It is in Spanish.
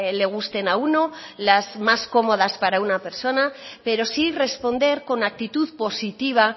le gusten a uno las más cómodas para una persona pero sí responder con actitud positiva